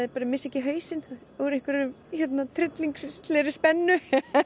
missi ekki hausinn úr einhverri tryllingslegri spennu